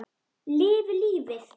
Lifi lífið!